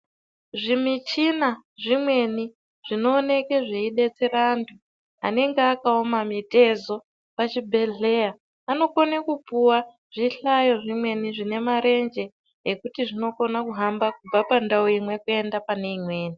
Zvimichina zvimweni zvinooneke zveibatsira antu anenge akaoma mitezo pazvibhedhlera vanokona kupuwa zvihlayo zvimweni zvine marenje ekuti zvinokona kuhamba kubva pandau imwe kuenda pane imweni.